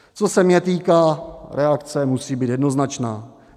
Co se mě týká, reakce musí být jednoznačná.